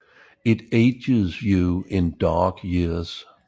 It ages you in dog years